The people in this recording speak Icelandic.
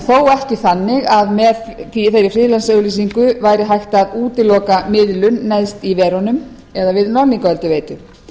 en þó ekki þannig að með þeirri friðlandsauglýsingu væri hægt að útiloka miðlun neðst í verunum eða við norðlingaölduveitu